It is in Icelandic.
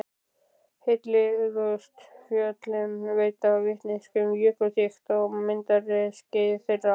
Heillegustu fjöllin veita vitneskju um jökulþykkt á myndunarskeiði þeirra.